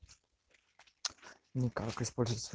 никак использовать